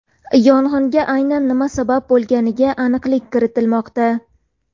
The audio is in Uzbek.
Yong‘inga aynan nima sabab bo‘lganiga aniqlik kiritilmoqda.